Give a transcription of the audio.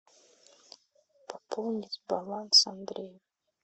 пополнить баланс андрей